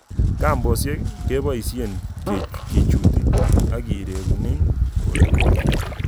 Kambosiek keboisie kechuti ak kereguni polepole.